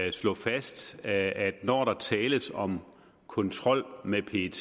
at slå fast at når der tales om kontrol med pet